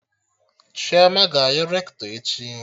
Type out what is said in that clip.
Chioma ga-ayọ Rektọ echi